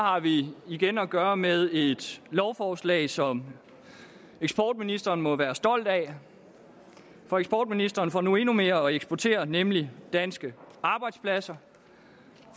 har vi igen at gøre med et lovforslag som eksportministeren må være stolt af for eksportministeren får nu endnu mere at eksportere nemlig danske arbejdspladser